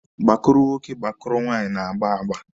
Gbakụrụ nwoke gbakụrụ nwaanyị na-agba agba.